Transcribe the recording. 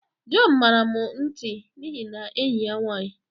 John, mara m nti n'ihi enyi ya nwanyị